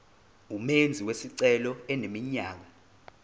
umenzi wesicelo eneminyaka